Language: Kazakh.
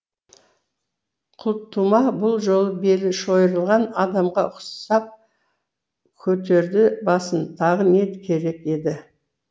құлтума бұл жолы белі шойырылған адамға ұқсап көтерді басын тағы не керек еді